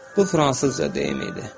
Bu fransızca deyimi idi.